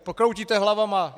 Kroutíte hlavama!